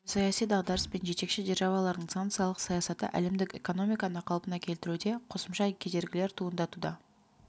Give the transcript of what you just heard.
геосаяси дағдарыс пен жетекші державалардың санкциялық саясаты әлемдік экономиканы қалпына келтіруде қосымша кедергілер туындатуда